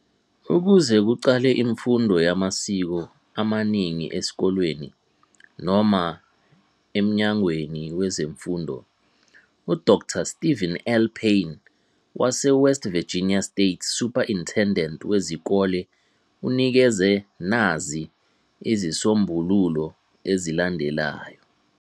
Ukuze kuqale imfundo yamasiko amaningi esikoleni noma emnyangweni wezemfundo, u Dr Steven L. Paine, wase West Virginia State Superintendent wezikole unikeza nazi izisombululo ezilandelayo.